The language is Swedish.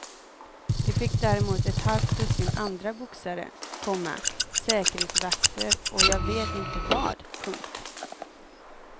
Det fick däremot ett halvt dussin andra boxare, komma säkerhetsvakter och jag vet inte vad. punkt